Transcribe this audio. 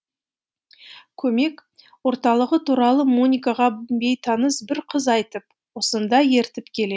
көмек орталығы туралы моникаға бейтаныс бір қыз айтып осында ертіп келе